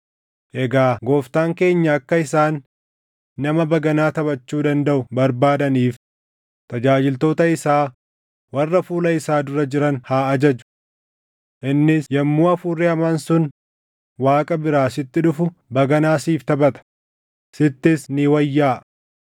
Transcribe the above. Egaa gooftaan keenya akka isaan nama baganaa taphachuu dandaʼu barbaadaniif tajaajiltoota isaa warra fuula isaa dura jiran haa ajaju. Innis yommuu hafuurri hamaan sun Waaqa biraa sitti dhufu baganaa siif taphata; sittis ni wayyaaʼa.”